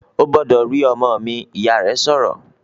"Ó gbọ́dọ̀ rí ọmọ mi!", Ìyá rẹ̀ sọ̀rọ̀